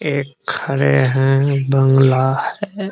एक खड़े हैं एक बंगला है |